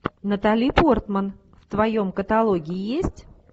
натали портман в твоем каталоге есть